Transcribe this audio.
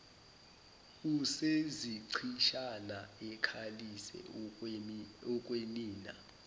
usezichitshana ekhalisa okwenina